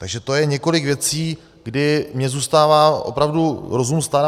Takže to je několik věcí, kdy mně zůstává opravdu rozum stát.